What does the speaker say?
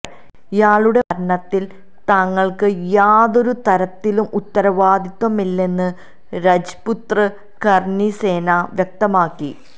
ഇയാളുടെ മരണത്തില് തങ്ങള്ക്ക് യാതൊരു തരത്തിലും ഉത്തരവാദിത്തമില്ലെന്ന് രജ്പുത്ര കര്ണി സേന വ്യക്തമാക്കി